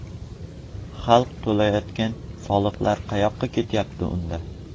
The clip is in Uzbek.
Xalq to‘layotgan soliqlar qayoqqa ketyapti unda?